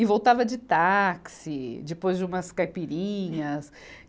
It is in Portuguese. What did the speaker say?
E voltava de táxi, depois de umas caipirinhas.